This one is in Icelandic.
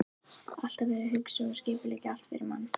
Alltaf verið að hugsa og skipuleggja allt fyrir mann.